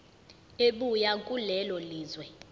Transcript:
ebuya kulelo lizwe